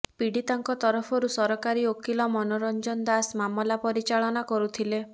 ପୀଡିତାଙ୍କ ତରଫରୁ ସରକାରୀ ଓକିଲ ମନୋରଂଜନ ଦାସ ମାମଲା ପରିଚାଳନା କରୁଥିଲେ